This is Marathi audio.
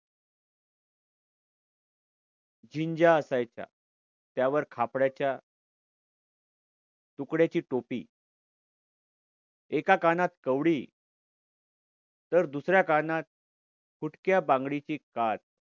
झिंज्या असायच्या. त्यावर खापड्याच्या तुकड्याची टोपी एका कानात कवडी तर दुसऱ्या कानात फुटक्या बांगडीची काच.